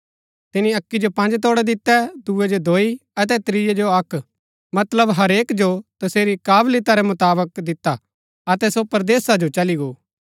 तिनी अक्की जो पँज तोड़ै दितै दूये जो दोई अतै त्रियै जो अक्क मतलब हरेक जो तसेरी कावलिता रै मुताबक दिता अतै सो परदेसा जो चली गो